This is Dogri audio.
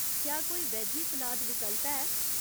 क्या कोई वेजी सलाद विकल्प है ?